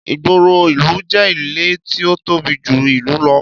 Ìgboro ìlú jẹ́ ilẹ̀ tí ó tóbi jù ìlú lọ